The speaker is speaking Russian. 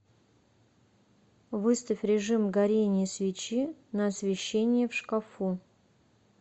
выставь режим горение свечи на освещении в шкафу